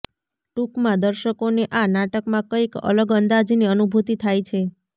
ટુંકમાં દર્શકોને આ નાટકમાં કઇક અલગ અંદાજની અનુભુતિ થાય છે